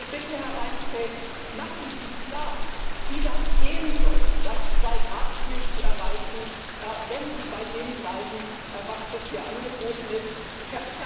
Also bitte, Herr Reinfeldt, machen Sie klar, wie es gehen soll, das Zwei Grad Ziel zu erreichen, wenn Sie bei dem bleiben, was bisher angeboten wird.